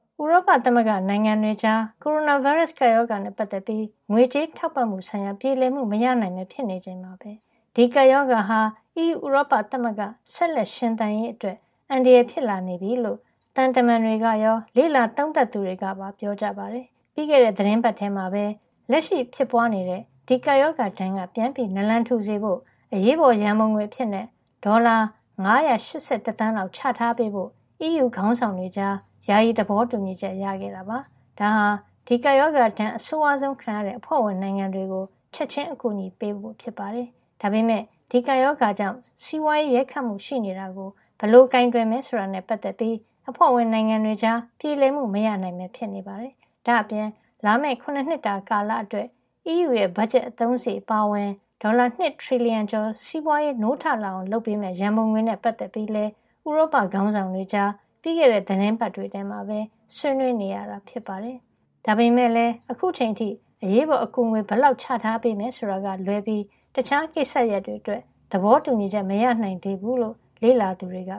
ဥရောပသမဂ္ဂ နိုင်ငံတွေကြား ကိုရိုနာဗိုင်းရပ်စ် ကပ်ရောဂါနဲ့ ပတ်သက်ပြီး ငွေကြေးထောက်ပံ့မှုဆိုင်ရာ ပြေလည်မှု မရနိုင်ပဲ ဖြစ်နေချိန်မှာပဲ ဒီကပ်ရောဂါဟာ EU ဥရောပသမဂ္ဂ ဆက်လက် ရှင်သန်ရေးအတွက် အန္တရာယ် ဖြစ်လာနေပြီလို့ သံတမန်တွေကရော လေ့လာသုံးသပ်သူတွေကပါ ပြောကြပါတယ်။ ပြီးခဲ့တဲ့ သီတင်းပတ်ထဲမှာပဲ လက်ရှိဖြစ်ပွားနေတဲ့ ကိုရိုနာဗိုင်းရပ်စ် ကပ်ရောဂါဒဏ်ကနေ ပြန်လည် နာလန်ထူစေဖို့ အရေးပေါ်ရန်ပုံငွေအဖြစ် ဒေါ်လာ ၅၈၁ သန်းလောက် ချထားပေးဖို့ အီးယူ ခေါင်းဆောင်တွေကြား ယာယီ သဘောတူညီချက် ရခဲ့တာပါ။ ဒါဟာ ဒီကပ်ရောဂါဒဏ် အဆိုးဝါးဆုံး ခံရတဲ့ အဖွဲ့ဝင်နိုင်ငံတွေကို ချက်ချင်း အကူအညီချထားပေးဖို့ ဖြစ်ပါတယ်။ ဒါပေမယ့် ဒီကပ်ရောဂါကြောင့် စီးပွားရေးရိုက်ခတ်မှုရှိနေတာကို ဘယ်လို ကိုင်တွယ်မယ် ဆိုတာနဲ့ပတ်သက်ပြီး အဖွဲ့ဝင်နိုင်ငံတွေကြား ပြေလည်မှု မရနိုင်ပဲဖြစ်နေပါတယ်။ ဒါ့အပြင် လာမယ့် ၇ နှစ်တာ ကာလအတွက် အီးယူရဲ့ ဘတ်ဂျက် အသုံးစားရိတ် အပါအဝင် ဒေါ်လာ ၂ ထရီလီယံ ကျော် စီးပွားရေးနိုးထလာအောင် လုပ်ပေးမယ့် ရန်ပုံငွေနဲ့ပတ်သက်ပြီးလည်း ဥရောပခေါင်းဆောင်တွေ ကြား ပြီးခဲ့တဲ့ သီတင်းပတ်ထဲမှာပဲ ဆွေးနွေးနေရတာ ဖြစ်ပါတယ်။ ဒါပေမယ့်လည်း အခုချိန်အထိ အရေးပေါ် အကူညီငွေ ဘယ်လောက် ချထားပေးမယ် ဆိုတာကလွဲပြီး တခြားကိစ္စရပ်တွေ အတွက် သဘောတူညီချက် မရနိုင်သေးဘူးလိ့ လေ့လာသူတွေက